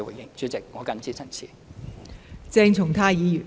代理主席，我謹此陳辭。